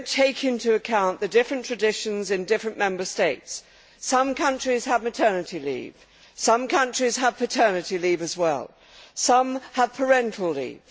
They do not take into account the different traditions in different Member States. Some countries have maternity leave, some have paternity leave as well, and some have parental leave.